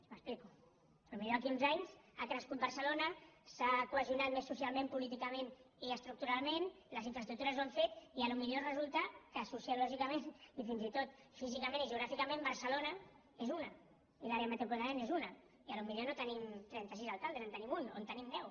m’explico potser d’aquí uns anys ha crescut barcelona s’ha cohesionat més socialment políticament i estructuralment les infraestructures ho han fet i potser resulta que sociològicament i fins i tot físicament i geogràficament barcelona és una i l’àrea metropolitana és una i potser no tenim trenta sis alcaldes en tenim un o en tenim deu